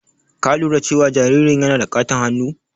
Ka lura cewa jaririn yana da ƙaton hannu?